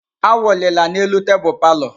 Awụlila n'elu tebụl palọ!